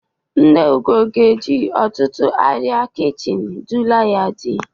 Nne Ugo ga-eji ọtụtụ arịa kichini dula ya dị.